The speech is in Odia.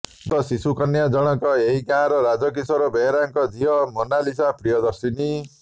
ମୃତ ଶିଶୁ କନ୍ୟା ଜଣକ ଏହି ଗାଁର ରାଜ କିଶୋର ବେହେରାଙ୍କ ଝିଅ ମୋନାଲିସା ପ୍ରିୟଦର୍ଶିନୀ